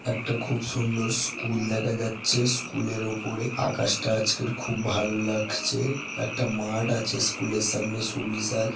একটা খুব সুন্দর স্কুল দেখা যাচ্ছে স্কুলের ওপরে আকাশটা আজকের খুব ভালো লাগছে একটা মাঠ আছে স্কুলের সামনে সুবিশাল।